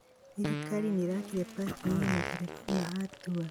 Thirikari nĩĩrakire pakĩngi ya matereba ma Atũa